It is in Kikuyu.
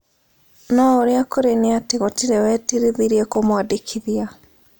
No ũrĩa kũrĩ nĩ atĩ gũtĩrĩ wetirithirie kũmũandĩkĩthia